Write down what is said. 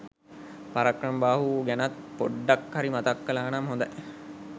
පරාක්‍රමබාහු ගැනත් පොඩ්ඩක් හරි මතක් කලානම් හොඳයි